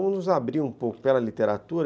Vamos nos abrir um pouco pela literatura.